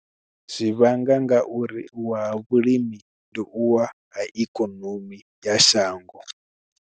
Zwi vhanga ngauri u wa vhulimi ndi u wa ha ikonomi ya shango.